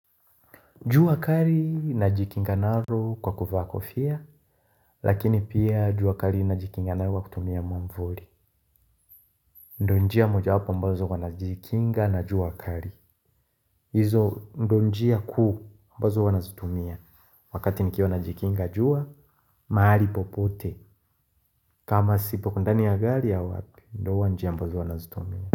Jua kari na jikinga naro kwa kufaa kofia, lakini pia jua kari na jikinga nayo kwa kutumia mwamvuri. Ndo njia moja wapo ambazo wanajikinga na jua kari. Izo ndo njia kuu ambazo huwa nazitumia wakati nikiwa najikinga jua, mahali popote. Kama sipo kundani ya gari ya wapi, ndo wanjia ambazo wanazitumia.